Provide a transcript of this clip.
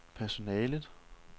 personalet